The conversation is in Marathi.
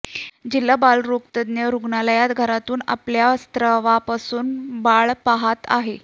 जिल्हा बालरोगतज्ञ रुग्णालयात घरातून आपल्या स्त्रावापासून पासून बाळ पहात आहे